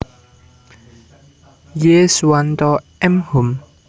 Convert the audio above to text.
Y Suwanto M Hum